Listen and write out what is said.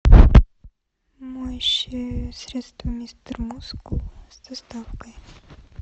моющее средство мистер мускул с доставкой